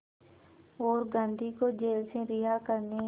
और गांधी को जेल से रिहा करने